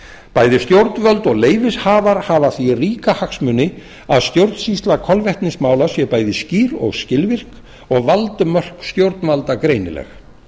bæði stjórnvöld og leyfishafar hafa af því ríka hagsmuni að stjórnsýsla kolvetnismála sé bæði skýr og skilvirk og valdmörk stjórnvalda greinileg